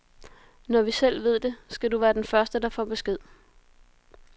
Når vi selv ved det, skal du være den første, der får besked.